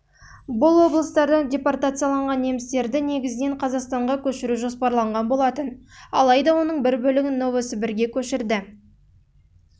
бұл облыстардан депортацияланған немістерді негізінен қазақстанға көшіру жоспарланған болатын алайда оның бір бөлігін новосібірге көшірді